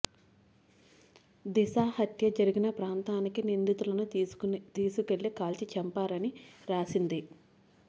దిశ హత్య జరిగిన ప్రాంతానికి నిందితులను తీసుకెళ్లి కాల్చి చంపారని రాసింది